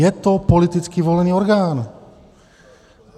Je to politicky volený orgán.